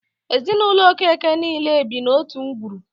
Ezinụlọ Okeke niile bi n'otu ngwuru.